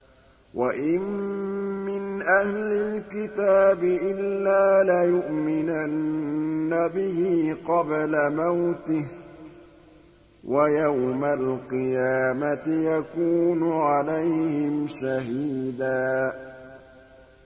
وَإِن مِّنْ أَهْلِ الْكِتَابِ إِلَّا لَيُؤْمِنَنَّ بِهِ قَبْلَ مَوْتِهِ ۖ وَيَوْمَ الْقِيَامَةِ يَكُونُ عَلَيْهِمْ شَهِيدًا